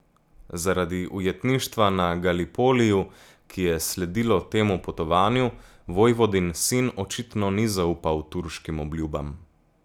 Zaradi ujetništva na Galipoliju, ki je sledilo temu potovanju, vojvodin sin očitno ni zaupal turškim obljubam.